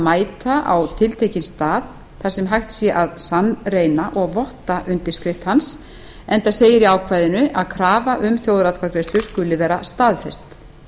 mæta á tiltekinn stað þar sem hægt sé að sannreyna og votta undirskrift hans enda segir í ákvæðinu að krafa um þjóðaratkvæðagreiðslu skuli vera staðfest